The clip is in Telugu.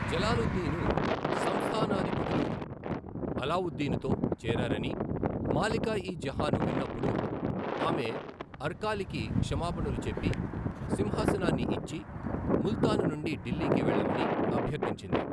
జలాలుద్దీను సంస్థానాధిపతులు అలావుద్దీనుతో చేరారని మాలికా ఇ జహాను విన్నప్పుడు, ఆమె అర్కాలికి క్షమాపణలు చెప్పి, సింహాసనాన్ని ఇచ్చి, ముల్తాను నుండి ఢిల్లీకి వెళ్లమని అభ్యర్థించింది.